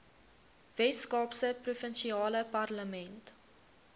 weskaapse provinsiale parlement